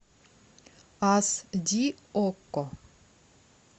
ас ди окко